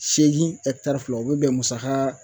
Seegin ɛkitari fila o be bɛn musakaa